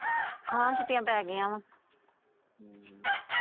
ਹਾਂ ਛੁੱਟੀਆਂ ਪੈ ਗਾਇਆ।